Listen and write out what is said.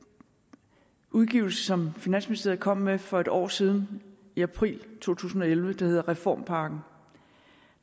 udgivelse som finansministeriet kom med for et år siden i april to tusind og elleve som hedder reformpakken